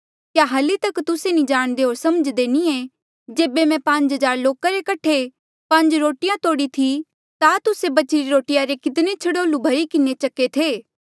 क्या हल्ली तक तुस्से जाणदे होर समझ्दे नी ऐें जेबे मैं पांज हज़ार लोका रे कठे पांज रोटिया तोड़ी थी ता तुस्से बचीरे रोटिया रे कितने छड़ोल्लू भरी किन्हें चक्के थे